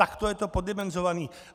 Tak to je to poddimenzované.